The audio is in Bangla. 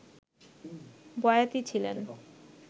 বয়াতি ছিলেন